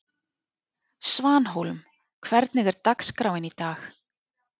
Svanhólm, hvernig er dagskráin í dag?